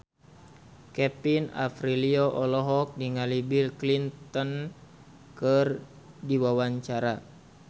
Kevin Aprilio olohok ningali Bill Clinton keur diwawancara